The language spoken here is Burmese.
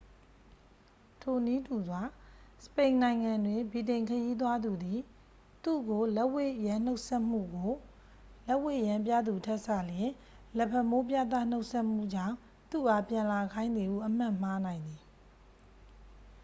ထိုနည်းတူစွာ စပိန်နိုင်ငံတွင် ဗြိတိန်ခရီးသွားသူသည် သူ့ကို လက်ဝှေ့ယမ်းနှုတ်ဆက်မှုကို လက်ဝှေ့ယမ်းပြသူထက်စာလျှင် လက်ဖမိုးပြသ နှုတ်ဆက်မှုကြောင့် သူ့အားပြန်လာခိုင်းသည်ဟု အမှတ်မှားနိုင်သည်။